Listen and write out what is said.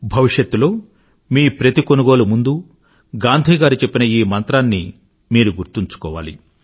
భవిష్యత్తులో మీ ప్రతి కొనుగోలు ముందరా గాంధీ గారు చెప్పిన ఈ మంత్రాన్ని గనుక మీరు గుర్తు ఉంచుకోవాలి